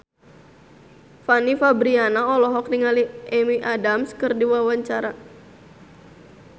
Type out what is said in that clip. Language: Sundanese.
Fanny Fabriana olohok ningali Amy Adams keur diwawancara